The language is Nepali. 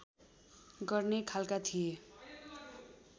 गर्ने खालका थिए